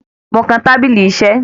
Mo kan tábílí iṣé.